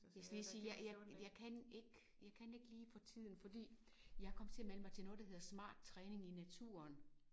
Jeg skal lige sige jeg jeg jeg kan ikke jeg kan ikke lige for tiden fordi jeg kom til at melde mig til noget der hedder smart træning i naturen